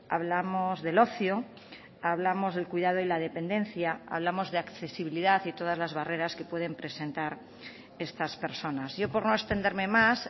hablamos del ocio hablamos del cuidado y la dependencia hablamos de accesibilidad y todas las barreras que pueden presentar estas personas yo por no extenderme más